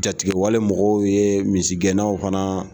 Jatigɛ wale mɔgɔw ye misigɛnnaw fana